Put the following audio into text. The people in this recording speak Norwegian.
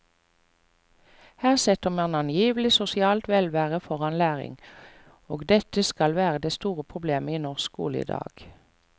Her setter man angivelig sosialt velvære foran læring, og dette skal være det store problemet i norsk skole i dag.